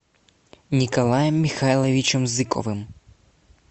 николаем михайловичем зыковым